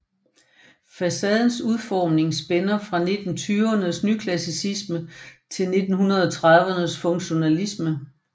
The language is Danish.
Facadernes udformning spænder fra 1920rnes nyklassicisme til 1930rnes funktionalisme